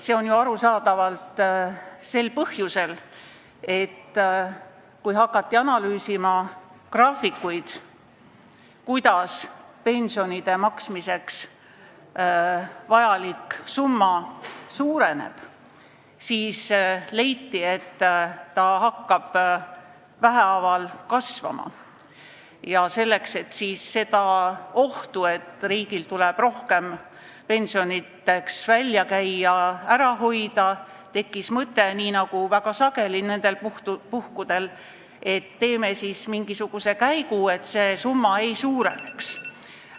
Seda arusaadavalt sel põhjusel, et kui hakati analüüsima graafikuid, siis leiti, et pensionide maksmiseks vajalik summa hakkab vähehaaval kasvama, ja selleks, et ära hoida ohtu, et riigil tuleb pensionideks rohkem raha välja käia, tekkis nii nagu väga sageli sellistel puhkudel mõte, et teeme siis mingisuguse käigu, et see summa ei suureneks.